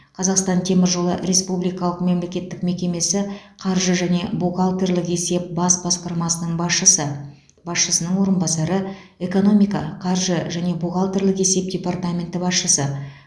қазақстан темір жолы республикалық мемлекеттік мекемесі қаржы және бухгалтерлік есеп бас басқармасының басшысы басшысының орынбасары экономика қаржы және бухгалтерлік есеп департаменті басшысы